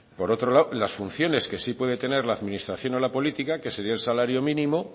por otro lado las funciones que sí puede tener la administración a la política que subió el salario mínimo